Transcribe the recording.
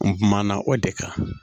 N kumana o de kan